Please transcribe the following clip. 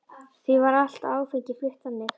Því var allt áfengi flutt þannig.